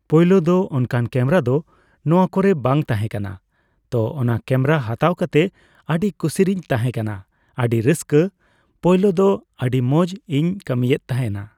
ᱯᱳᱭᱞᱳ ᱫᱚ ᱚᱱᱠᱟᱱ ᱠᱮᱢᱮᱨᱟ ᱫᱚ ᱱᱚᱣᱟ ᱠᱚᱨᱮ ᱵᱟᱝ ᱛᱟᱦᱮᱸ ᱠᱟᱱᱟ ᱾ᱛᱚ ᱚᱱᱟ ᱠᱮ ᱢᱮᱨᱟ ᱦᱟᱛᱟᱣ ᱠᱟᱛᱮ ᱟᱹᱰᱤ ᱠᱩᱥᱤ ᱨᱤᱧ ᱛᱟᱦᱮᱸ ᱠᱟᱱᱟ ᱟᱹᱰᱤ ᱨᱟᱹᱥᱠᱟ, ᱯᱚᱭᱞᱳ ᱫᱚ ᱟᱹᱰᱤ ᱢᱚᱸᱡᱽ ᱤᱧ ᱠᱟᱹᱢᱤᱭᱮᱫ ᱛᱟᱦᱮᱱᱟ